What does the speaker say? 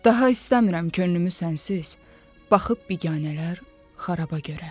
Daha istəmirəm könlümü sənsiz, baxıb biganələr xarabə görə.